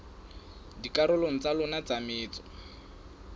dikarolong tsa yona tsa metso